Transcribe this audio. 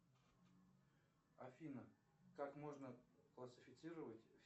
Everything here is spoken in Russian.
афина как можно классифицировать